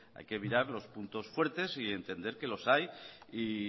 hay que mirar los puntos fuertes y entender que los hay y